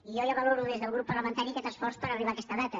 i jo ja valoro des del grup parlamentari aquest esforç per arribar a aquesta data